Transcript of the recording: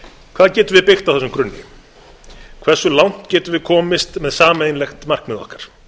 hvað getum við byggt á þessum grunni hversu langt getum við komist með sameiginlegt markmið okkar